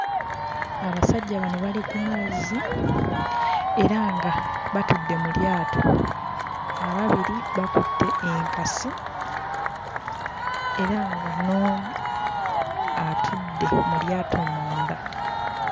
Abasajja bano bali ku mazzi era nga batudde mu lyato. Ababiri bakutte enkasi era nga n'omu atudde mu lyato munda.